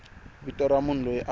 vito ra munhu loyi a